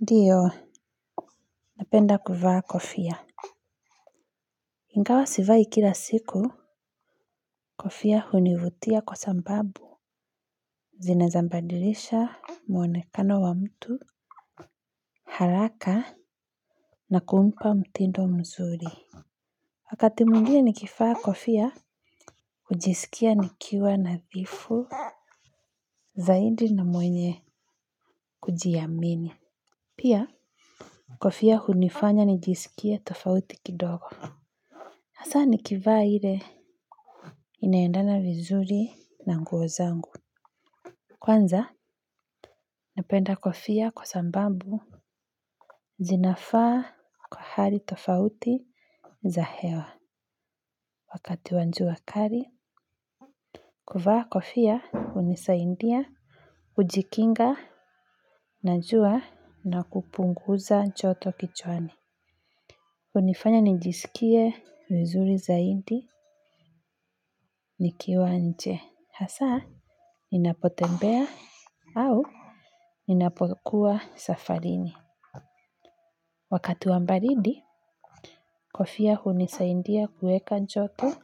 Ndiyo napenda kuvaa kofia. Ingawa sivai kila siku kofia hunivutia kwa sababu zina weza mbadirisha muonekano wa mtu. Haraka na kumpa mtindo mzuri. Wakati mwingine nikivaa kofia hujisikia nikiwa na dhifu. Zaidi na mwenye kujiamini. Pia kofia hunifanya nijisikie tofauti kidogo. Hasa nikivaa ile inaendana vizuri na nguo zangu. Kwanza napenda kofia kwa sababu zinafaa hali tofauti za hewa wakati wa jua kali. Kuvaa kofia hunisaidia, ujikinga, na jua na kupunguza joto kichwani. Hunifanya nijisikie vizuri zaidi nikiwa nje. Hasa, ninapotembea au ninapokuwa safarini. Wakati wa baridi, kofia hunisaidia kuweka joto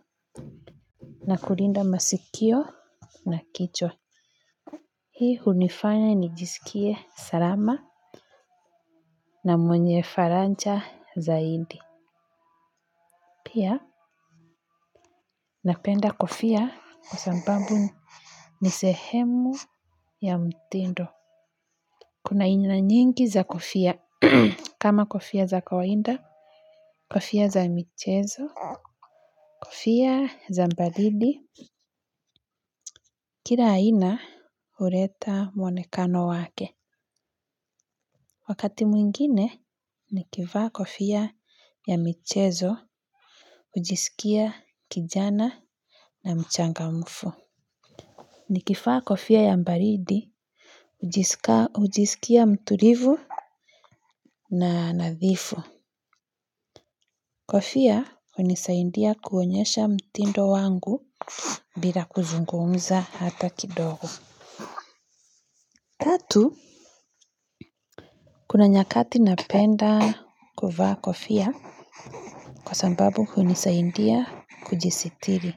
na kulinda masikio na kichwa. Hii hunifanya nijisikie salama na mwenye faraja zaidi. Pia, napenda kofia kwa sababu nisehemu ya mtindo. Kuna aina nyingi za kofia, kama kofia za kawaida, kofia za michezo, kofia za baridi, kila aina huleta muonekano wake. Wakati mwingine, nikivaa kofia ya michezo, ujisikia kijana na mchangamfu. Nikivaa kofia ya baridi, hujisikia mtulivu na nadhifu. Kofia hunisaidia kuonyesha mtindo wangu bila kuzungumza hata kidogo. Tatu, kuna nyakati napenda kuvaa kofia kwa sababu hunisaidia kujisitiri.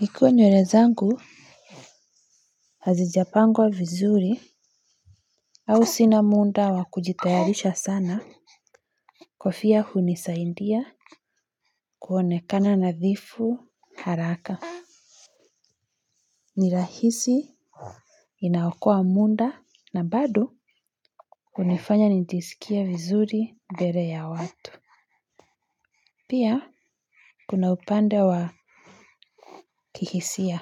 Ikiwa nywele zangu hazijapangwa vizuri au sina muda wakujitayarisha sana kofia hunisaidia kuonekana nadhifu haraka. Ni rahisi, inaokoa muda na bado hunifanya nijisikie vizuri mbele ya watu. Pia, kuna upande wa kihisia.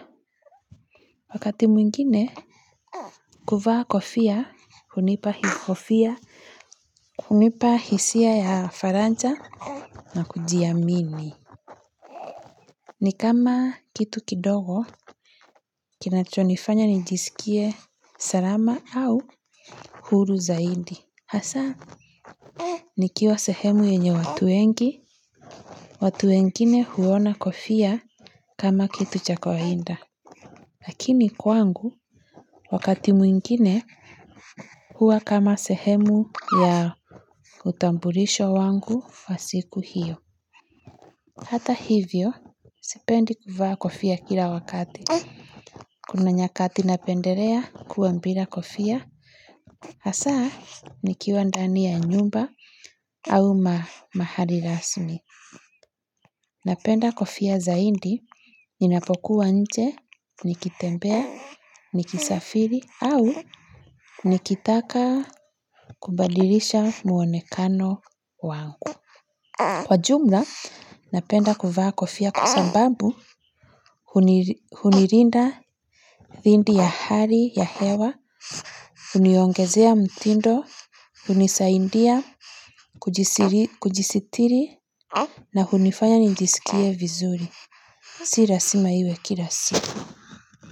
Wakati mwingine, kuvaa kofia, hunipa kofia, hunipa hisia ya faraja na kujiamini. Ni kama kitu kidogo, kinachonifanya nijisikie salama au huru zaidi. Hasa, nikiwa sehemu yenye watu wengi, watu wengine huona kofia kama kitu cha kawaida. Lakini kwangu, wakati mwingine huwa kama sehemu ya utambulisho wangu wa siku hiyo. Hata hivyo, sipendi kuvaa kofia kila wakati. Kuna nyakati na pendelea kuwa bila kofia. Hasa, nikiwa ndani ya nyumba au mahali rasmi. Napenda kofia zaidi, ninapokuwa nje, nikitembea, nikisafiri, au nikitaka kubadilisha muonekano wangu. Kwa jumla, napenda kuvaa kofia kwasababu, hunilinda dhidi ya hari ya hewa, huniongezea mtindo, hunisaidia, kujisitiri, na hunifanya nijisikie vizuri. Silazima iwe kila si.